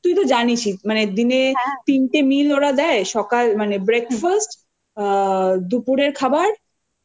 তুইতো জানিসই মানে দিনে তিনটে meal ওরা দেয় সকাল মানে breakfast দুপুরের খাবার